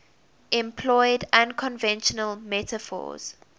employed unconventional metaphors